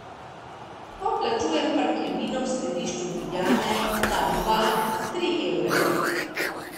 Ko plačujem parkirnino v središču Ljubljane, dam dva, tri evre.